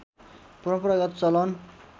परम्परागत चलन